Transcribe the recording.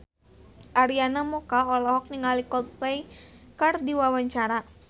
Arina Mocca olohok ningali Coldplay keur diwawancara